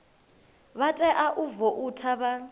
vha tea u voutha vha